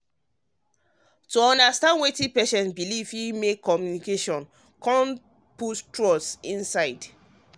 to understand wetin patient believe fit help make communication and trust strong.